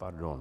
Pardon.